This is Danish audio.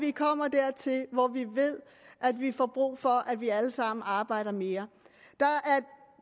er kommet dertil hvor vi ved at vi har brug for at vi alle sammen arbejder mere